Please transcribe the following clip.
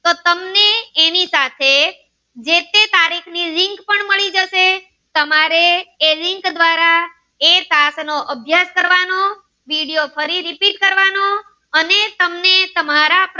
તો એની સાથે જે તે તારીખ ની link પણ મળી જશે તમારે એ link દ્વારા એ પાઠ નો તમારે અભ્યાસ કરવાનો વિડીયો ફરી repeat કરવાનો અને તમને તમારા પ્રશ્નો